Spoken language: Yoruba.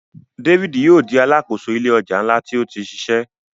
David yóò di Aláàkóso ilé ọjà nla tí o tí ṣiṣẹ.